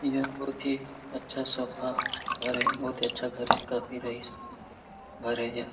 यहां बहुत ही अच्छा सोफा ह घर हे काफी अच्छा घर हेकाफी रईस घरे यह।